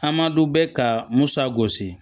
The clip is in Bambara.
Hamdu bɛ ka musa gosi